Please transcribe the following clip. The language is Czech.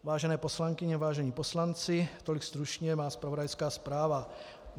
Vážené poslankyně, vážení poslanci, tolik stručně má zpravodajská zpráva.